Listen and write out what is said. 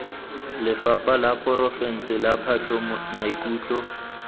lephata la porofense la patlomaikutlo